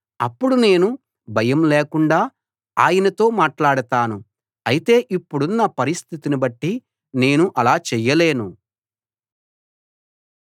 అప్పుడు నేను భయం లేకుండా ఆయనతో మాట్లాడతాను అయితే ఇప్పుడున్న పరిస్థితిని బట్టి నేను అలా చెయ్యలేను